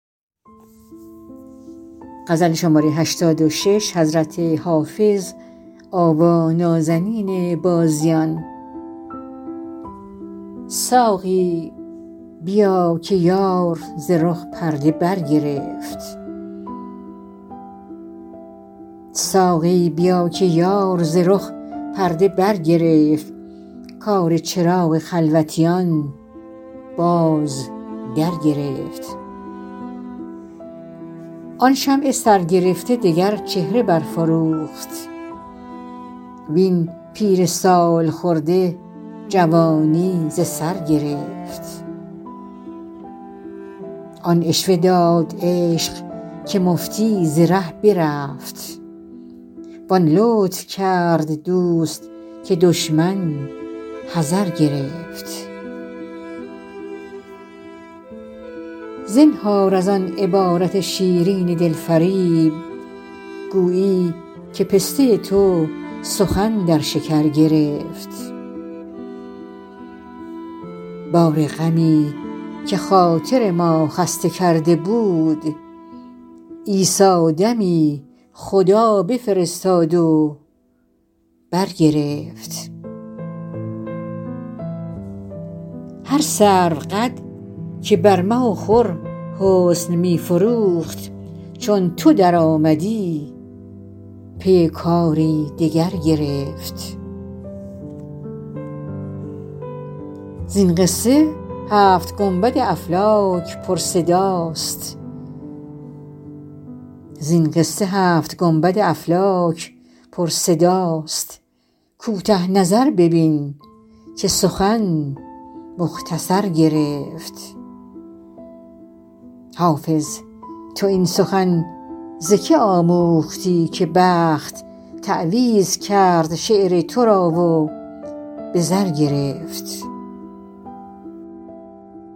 ساقی بیا که یار ز رخ پرده برگرفت کار چراغ خلوتیان باز درگرفت آن شمع سرگرفته دگر چهره برفروخت وین پیر سال خورده جوانی ز سر گرفت آن عشوه داد عشق که مفتی ز ره برفت وان لطف کرد دوست که دشمن حذر گرفت زنهار از آن عبارت شیرین دل فریب گویی که پسته تو سخن در شکر گرفت بار غمی که خاطر ما خسته کرده بود عیسی دمی خدا بفرستاد و برگرفت هر سروقد که بر مه و خور حسن می فروخت چون تو درآمدی پی کاری دگر گرفت زین قصه هفت گنبد افلاک پرصداست کوته نظر ببین که سخن مختصر گرفت حافظ تو این سخن ز که آموختی که بخت تعویذ کرد شعر تو را و به زر گرفت